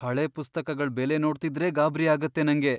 ಹಳೆ ಪುಸ್ತಕಗಳ್ ಬೆಲೆ ನೋಡ್ತಿದ್ರೇ ಗಾಬ್ರಿ ಆಗತ್ತೆ ನಂಗೆ.